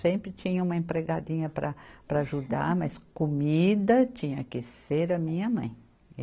Sempre tinha uma empregadinha para, para ajudar, mas comida tinha que ser a minha mãe.